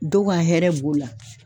Dɔw ka hɛrɛ b'o la.